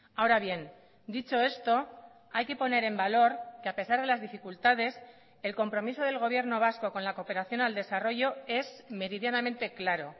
ahora bien dicho esto hay que poner en valor que a pesar de las dificultades el compromiso del gobierno vasco con la cooperación al desarrollo es meridianamente claro